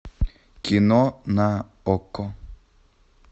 кино на окко